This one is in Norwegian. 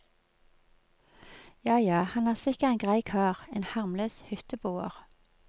Ja, ja, han er sikkert en grei kar, en harmløs hytteboer.